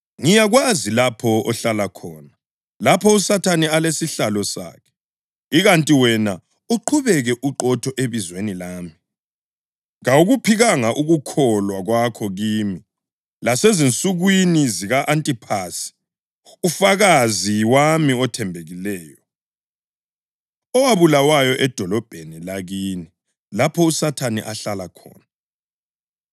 Ngiyakwazi lapho ohlala khona, lapho uSathane alesihlalo sakhe. Ikanti wena uqhubeke uqotho ebizweni lami. Kawukuphikanga ukukholwa kwakho kimi, lasezinsukwini zika-Antiphasi, ufakazi wami othembekileyo, owabulawayo edolobheni lakini, lapho uSathane ahlala khona.